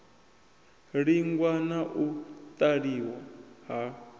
langiwa na u laṱiwa ha